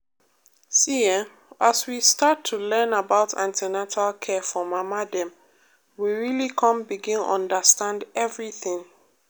see[um]as we start to learn about an ten atal care for mama dem we really come begin understand everything.